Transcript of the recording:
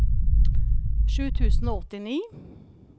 sju tusen og åttini